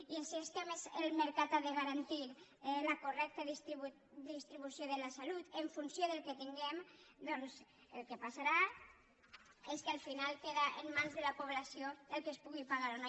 i així és que a més el mercat ha de garantir la correcta distribució de la salut en funció del que tinguem doncs el que passarà és que al final queda en mans de la població que es pugui pagar o no